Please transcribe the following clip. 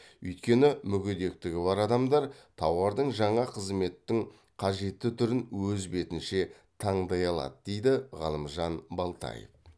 өйткені мүгедектігі бар адамдар тауардың және қызметтің қажетті түрін өз бетінше таңдай алады дейді ғалымжан балтаев